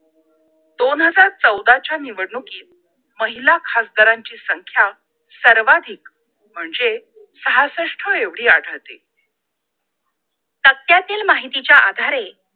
दोन हजार चौदाच्या निवडणुकीत महिला खासदारांची संख्या सर्वाधिक म्हणजे सहासष्ट एवढी आढळते तक्त्यातील माहितीच्या आधारे